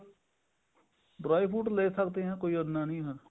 dry fruit ਲੈ ਸਕਦੇ ਹਾਂ ਕੋਈ ਇੰਨਾ ਨਹੀਂ ਹੈ